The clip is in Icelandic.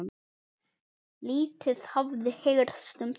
Lítið hafi heyrst um það.